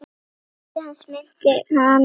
Ótti hans minnti hana á